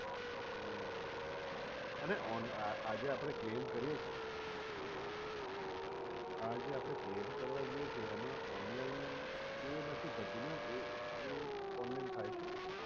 હમ્મ અને આજે આપણે claim કરીએ છીએ આજે આપણે claim કરવા જઈએ છીએ એમા online એ નથી થતું ને એ એ online થાય છે?